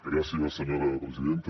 gràcies senyora presidenta